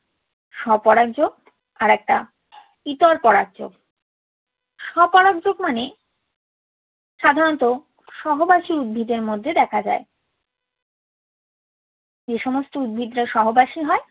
স্বপরাগ যোগ আর একটা ইতর পরাগ যোগ। স্বপরাগ যোগ মানে সাধারণত সহবাসী উদ্ভিদের মধ্যে দেখা যায়। যে সমস্ত উদ্ভিদরা সহবাসী হয়